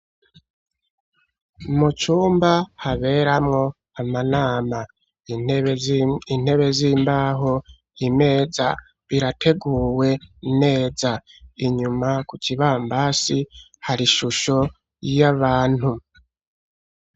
Mucumba haberamwo amanama intebe z'imbaho imeza birateguwe neza inyuma ku ca ibambasi hari ishusho yo abantu.